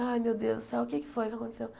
Ai, meu Deus do céu, o que é que foi que aconteceu?